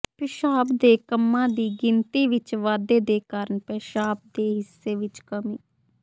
ਪਿਸ਼ਾਬ ਦੇ ਕੰਮਾਂ ਦੀ ਗਿਣਤੀ ਵਿੱਚ ਵਾਧੇ ਦੇ ਕਾਰਨ ਪੇਸ਼ਾਬ ਦੇ ਹਿੱਸੇ ਵਿੱਚ ਕਮੀ